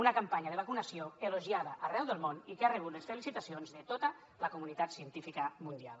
una campanya de vacunació elogiada arreu del món i que ha rebut les felicitacions de tota la comunitat científica mundial